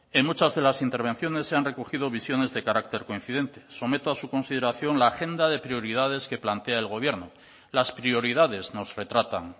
en muchas de las intervenciones se han recogido visiones de carácter coincidente someto a su consideración la agenda de prioridades que plantea el gobierno las prioridades nos retratan